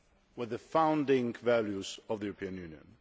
with the founding values of the European Union.